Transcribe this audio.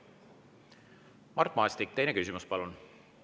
Mart Maastik, teine küsimus, palun!